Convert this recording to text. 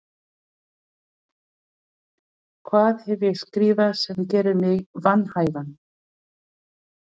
Björn Bjarnason: Hvað hef ég skrifað sem gerir mig vanhæfan?